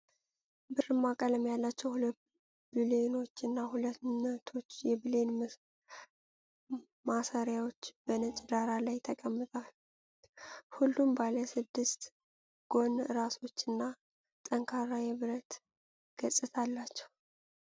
ብርማ ቀለም ያላቸው ሁለት ብሎኖች እና ሁለት ነቶች የብሎን ማሰሪያዎች በነጭ ዳራ ላይ ተቀምጠዋል። ሁሉም ባለ ስድስት ጎን ራሶችና ጠንካራ የብረት ገጽታ አላቸው።